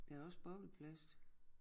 Der også bobleplast